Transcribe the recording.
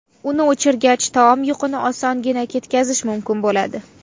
Uni o‘chirgach, taom yuqini osongina ketkazish mumkin bo‘ladi.